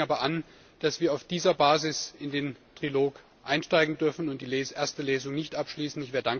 Wir regen aber an, dass wir auf dieser Basis in den Trilog einsteigen dürfen und die erste Lesung nicht abschließen.